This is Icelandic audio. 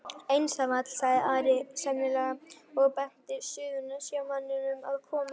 Einsamall, sagði Ari seinlega og benti Suðurnesjamanninum að koma.